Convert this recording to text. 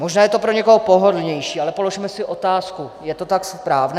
Možná je to pro někoho pohodlnější, ale položme si otázku - je to tak správné?